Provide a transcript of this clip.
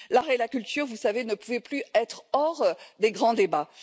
L'art et la culture, vous le savez, ne pouvaient plus rester hors des grands débats.